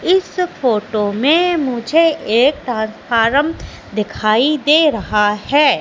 इस फोटो में मुझे एक ट्रांसफॉर्म दिखाई दे रहा है।